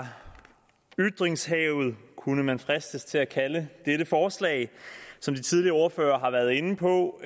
ytringshavet kunne man fristes til at kalde dette forslag som de tidligere ordførere har været inde på